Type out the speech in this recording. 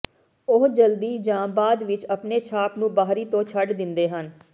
ਉਹ ਜਲਦੀ ਜਾਂ ਬਾਅਦ ਵਿਚ ਆਪਣੇ ਛਾਪ ਨੂੰ ਬਾਹਰੀ ਤੋਂ ਛੱਡ ਦਿੰਦੇ ਹਨ